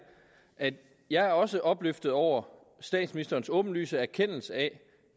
at jeg også er opløftet over statsministerens åbenlyse erkendelse af